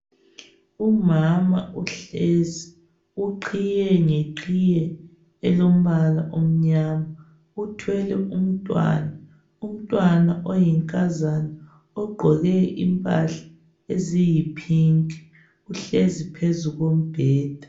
Umama uhlezi. Uqhiye ngeqhiye elombala omnyama. Uthwele umntwana. Umntwana oyinkazana ogqoke impahla eziyipink. Uhlezi phezu kombheda.